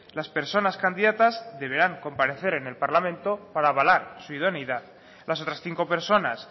las personas candidatas deberán comparecer en el parlamento para avalar su idoneidad las otras cinco personas